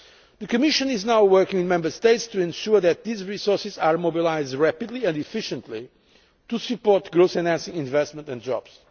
The Commission is now working with Member States to ensure that these resources are mobilised rapidly and efficiently to support growth in investment and jobs.